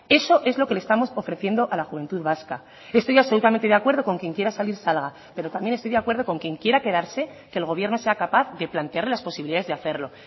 eso es lo que le estamos ofreciendo a la juventud vasca estoy absolutamente de acuerdo con quien quiera salir salga pero también estoy de acuerdo con quien quiera quedarse que el gobierno sea capaz de plantear las posibilidades de hacerlo